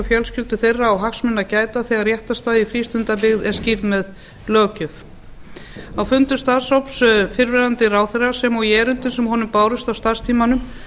fjölskyldur þeirra á hagsmuna að gæta þegar réttarstaða í frístundabyggð er skýrð með löggjöf á fundi starfshóps fyrrverandi ráðherra sem og í erindum sem honum bárust á starfstímanum